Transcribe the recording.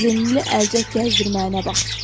Bazenli əlcək gəzdirməyinə bax.